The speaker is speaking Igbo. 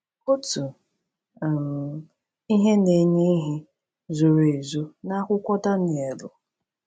Otu um ihe na-enye ihe zoro ezo n’akwụkwọ Danielu.